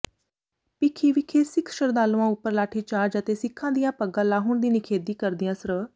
ਭੀਖੀ ਵਿਖੇ ਸਿੱਖ ਸ਼ਰਧਾਲੂਆਂ ਉੱਪਰ ਲਾਠੀਚਾਰਜ ਅਤੇ ਸਿੱਖਾਂ ਦੀਆਂ ਪੱਗਾਂ ਲਾਹੁਣ ਦੀ ਨਿਖੇਧੀ ਕਰਦਿਆਂ ਸ੍ਰ